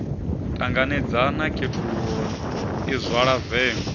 ṱanganedzana khethululo i zwala vengo